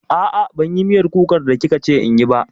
A'a, ban yi miyar kukan da kika ce inyi ba